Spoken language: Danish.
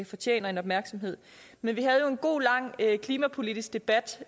fortjener en opmærksomhed men vi havde jo en god lang klimapolitisk debat